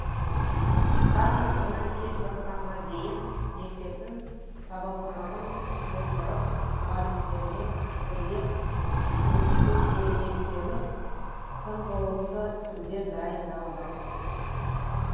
таң атқаннан кеш батқанға дейін мектептің табалдырығын тоздырып мұғалімдермен бірге тынымсыз еңбектеніп тыңғылықты түрде дайындалдық